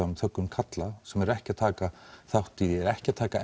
um þöggun karla sem eru ekki að taka þátt í ekki að taka